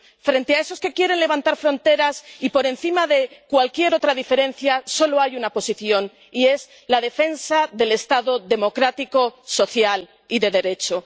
Frente a los que quieren levantar fronteras —y por encima de cualquier otra diferencia— solo hay una posición, y es la defensa del Estado democrático, social y de Derecho.